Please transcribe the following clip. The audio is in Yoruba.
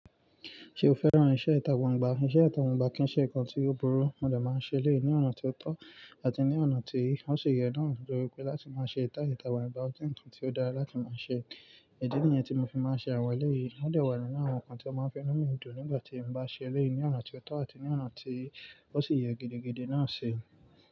Ṣé o fẹ́ràn iṣẹ́ ìtà gbangbà? Iṣẹ́ ita gbangbà kì í ṣe nǹkan tí ó burú, mo dà máa ń ṣe léyìí ní ọ̀nà tí ó tọ́ àti ní ọ̀nà tí ó sì yẹ náà, nítorí pé láti máa ṣe ìtà gbangbà, ó jẹ́ nǹkan tí ó dára láti máa ṣe. Idi nìyẹn tí mo fi máa ń ṣe àwọn ẹlẹ́yìí, o de wà nínú àwọn nǹkan tí ó máa ń fẹ́ mu inu mì dun nígbà tí mo bá ṣe eléyìí ní ọ̀nà tí ó tọ́ àti ní ọ̀nà tí ó sì yẹ gidigidi náà ṣi.